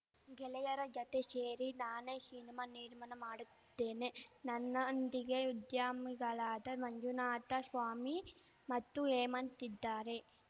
ಗೆಳೆಯರ ಜತೆ ಶೇರಿ ನಾನೇ ಶಿನಿಮಾ ನಿರ್ಮಾಣ ಮಾಡುತ್ತಿದ್ದೇನೆ ನನ್ನೊಂದಿಗೆ ಉದ್ಯಮಿಗಳಾದ ಮಂಜುನಾಥ ಸ್ವಾಮಿ ಮತ್ತು ಹೇಮಂತ್‌ ಇದ್ದಾರೆ